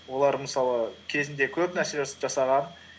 олар мысалы кезінде көп нәрселер жасаған